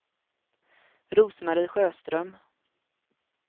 Rose-Marie Sjöström